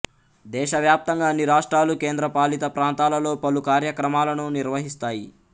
దేశవ్యాప్తంగా అన్ని రాష్ట్రాలు కేంద్రపాలిత ప్రాంతాలలో పలు కార్యక్రమాలను నిర్వహిస్తాయి